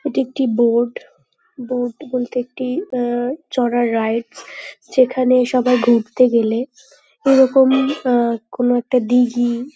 এটি একটি boat boat বলতে একটি আহ চড়ার রাইডস যেখানে সবাই ঘুরতে গেলে এরকম আহ কোন একটা দিঘি--